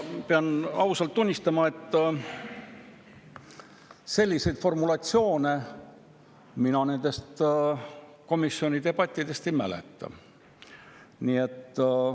Ma pean ausalt tunnistama, et selliseid formulatsioone mina nendest komisjoni debattidest ei mäleta.